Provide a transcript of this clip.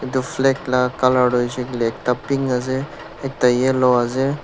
etu flag laga colour hoishe koile toh ekta pink ase ekta ase.